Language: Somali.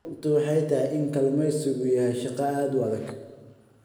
Runtu waxay tahay in kalluumaysigu yahay shaqo aad u adag.